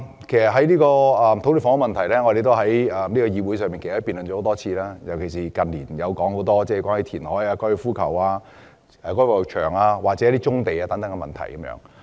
其實，土地及房屋問題，我們在這個議會已經辯論多次，近年更是多番討論填海、收回高爾夫球場、發展棕地等選項。